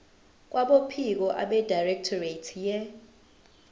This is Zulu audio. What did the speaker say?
kwabophiko abedirectorate ye